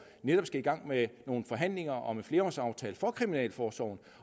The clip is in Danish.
skal i gang med nogle forhandlinger om en flerårsaftale for kriminalforsorgen